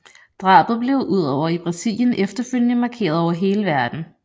Drabet blev udover i Brasilien efterfølgende markeret over hele verden